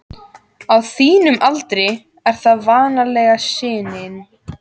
Á þínum aldri er það vanalega sinin.